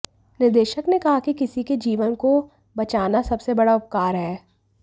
निदेशक ने कहा कि किसी के जीवन को बचाना सबसे बड़ा उपकार है